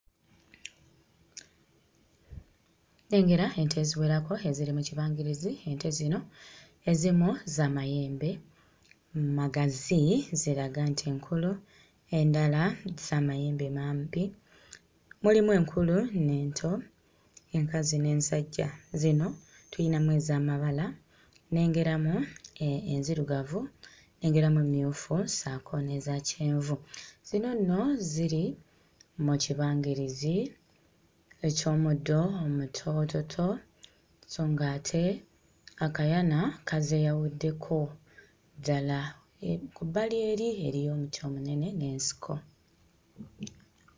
Nnengera ente eziwerako eziri mu kibangirizi. Ente zino ezimu za mayembe magazi, ziraga nti nkulu, endala za mayembe mampi. Mulimu enkulu n'ento, enkazi n'ensajja. Zino tuyinamu ez'amabala, nnengeramu enzirugavu, nnengeramu emmyufu ssaako n'eza kyenvu. Zino nno ziri mu kibangirizi eky'omuddo omutoototo so ng'ate akayana kazeeyawuddeko ddala. Eri ku bbali eri eriyo omuti omunene n'ensiko.